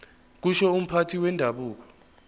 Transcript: kusho umphathi wendabuko